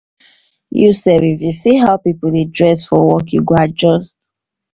you sef if you see as pipo dey dress for work you go adjust.